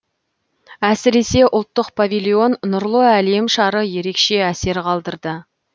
әсіресе ұлттық павильон нұрлы әлем шары ерекше әсер қалдырды